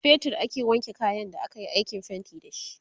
da fetir aka wanke kayan da akayi aikin fainti da shi